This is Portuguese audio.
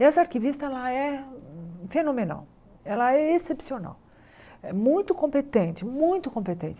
Essa arquivista ela é fenomenal, ela é excepcional, é muito competente, muito competente.